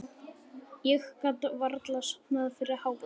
Ég gat varla sofnað fyrir hávaða.